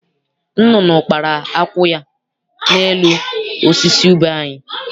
Nnụnụ kpara akwụ ya n'elu osisi ube anyị.